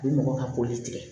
U bɛ mɔgɔ ka koli tigɛ